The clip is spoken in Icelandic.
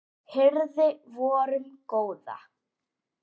hirði vorum góða